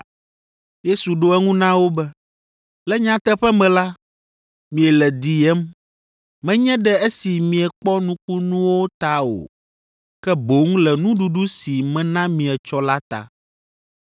Yesu ɖo eŋu na wo be, “Le nyateƒe me la, miele diyem, menye ɖe esi miekpɔ nukunuwo ta o, ke boŋ le nuɖuɖu si mena mi etsɔ la ta.